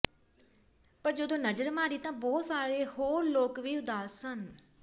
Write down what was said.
ਪਰ ਜਦੋਂ ਨਜ਼ਰ ਮਾਰੀ ਤਾਂ ਬਹੁਤ ਸਾਰੇ ਹੋਰ ਲੋਕ ਵੀ ਉਦਾਸ ਸਨ